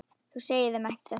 Þú segir þeim þetta ekki.